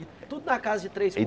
E tudo na casa de três